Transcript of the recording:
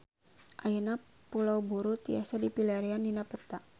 Ayeuna Pulau Buru tiasa dipilarian dina peta